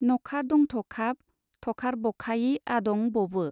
नखादंथखाब थखारबखायि आदं बबो।